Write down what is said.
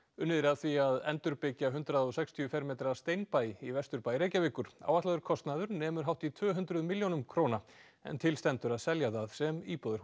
unnið er að því að endurbyggja hundrað og sextíu fermetra í Vesturbæ Reykjavíkur áætlaður kostnaður nemur hátt í tvöhundruð milljónum króna en til stendur að selja það sem íbúðarhús